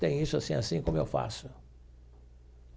Tem isso assim e assim, como eu faço.